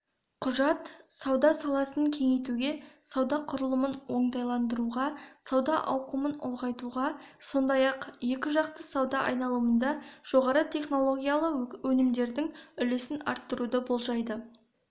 құжат сауда саласын кеңейтуге сауда құрылымын оңтайландыруға сауда ауқымын ұлғайтуға сондай-ақ екіжақты сауда айналымында жоғары технологиялы өнімдердің үлесін арттыруды болжайды